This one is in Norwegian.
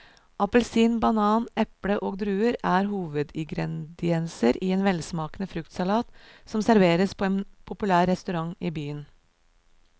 Appelsin, banan, eple og druer er hovedingredienser i en velsmakende fruktsalat som serveres på en populær restaurant i byen.